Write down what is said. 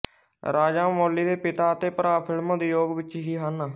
ਰਾਜਾਮੌਲੀ ਦੇ ਪਿਤਾ ਅਤੇ ਭਰਾ ਫ਼ਿਲਮ ਉਦਯੋਗ ਵਿੱਚ ਹੀ ਹਨ